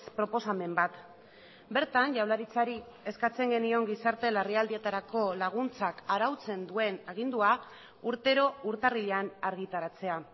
proposamen bat bertan jaurlaritzari eskatzen genion gizarte larrialdietarako laguntzak arautzen duen agindua urtero urtarrilean argitaratzea